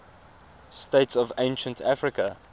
states of ancient africa